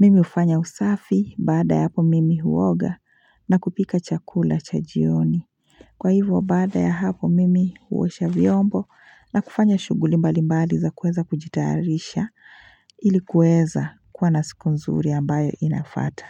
Mimi ufanya usafi baada ya hapo mimi huoga na kupika chakula cha jioni Kwa hivo baada ya hapo mimi huosha vyombo na kufanya shuguli mbali mbali za kueza kujitaarisha ili kueza kuwa na siku nzuri ambayo inafata.